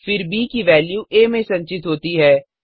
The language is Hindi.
फिर ब की वेल्यू आ में संचित होती है